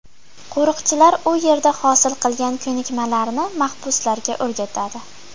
Qo‘riqchilar u yerda hosil qilgan ko‘nikmalarini mahbuslarga o‘rgatadi.